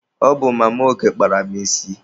Ọ bụ Mama Oge kpara m isi.